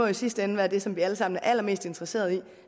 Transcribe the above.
i sidste ende være det som vi alle sammen er allermest interesseret i